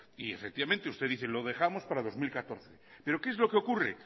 y efectivamente usted dice lo dejamos para dos mil catorce pero qué es lo que ocurre